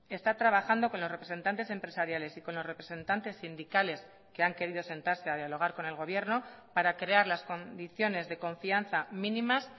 está trabajando con los representantes empresariales y con los representantes sindicales que han querido sentarse a dialogar con el gobierno para crear las condiciones de confianza mínimas